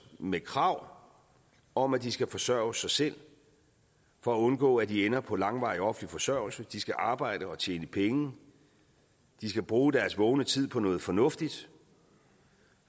med krav om at de skal forsørge sig selv for at undgå at de ender på langvarig offentlig forsørgelse de skal arbejde og tjene penge de skal bruge deres vågne tid på noget fornuftigt